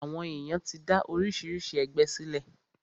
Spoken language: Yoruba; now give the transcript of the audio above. Àwọn èyàn ti dá oríṣiríṣi ẹgbẹ sílẹ̀.